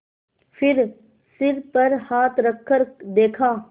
फिर सिर पर हाथ रखकर देखा